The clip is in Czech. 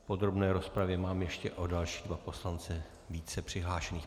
V podrobné rozpravě mám ještě o další dva poslance více přihlášených.